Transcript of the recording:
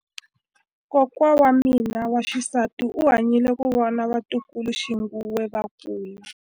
Kokwa wa mina wa xisati u hanyile ku vona vatukuluxinghuwe va kula.